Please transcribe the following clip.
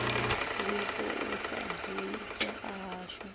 wipo u sa dzulisea hashu